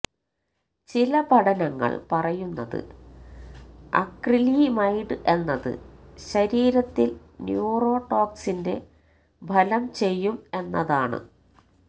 ചില പഠനങ്ങള് പറയുന്നത് അക്രിലിമൈഡ് എന്നത് ശരീരത്തില് ന്യൂറോ ടോക്സിന്റെ ഫലം ചെയ്യും എന്നതാണ്